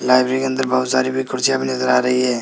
Library के अंदर बहुत सारी भी कुर्सियां भी नजर आ रही है।